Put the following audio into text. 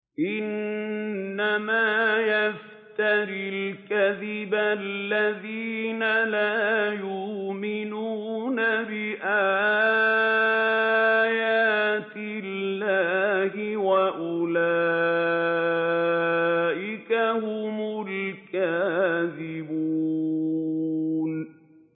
إِنَّمَا يَفْتَرِي الْكَذِبَ الَّذِينَ لَا يُؤْمِنُونَ بِآيَاتِ اللَّهِ ۖ وَأُولَٰئِكَ هُمُ الْكَاذِبُونَ